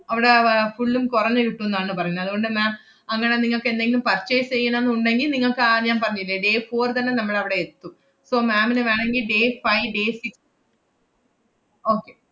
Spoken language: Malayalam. അവടെ വ~ അഹ് full ഉം കൊറഞ്ഞ് കിട്ടുന്നാണ് പറയുന്നേ, അതുകൊണ്ട് ma'am അങ്ങനെ നിങ്ങക്ക് എന്തെങ്കിലും purchase എയ്യണം ~ന്ന് ഉണ്ടെങ്കി, നിങ്ങൾക്ക് ആഹ് ഞാൻ പറഞ്ഞില്ലേ day four തന്നെ നമ്മളവടെ എത്തും. ഇപ്പം ma'am ന് വേണങ്കി day five day six okay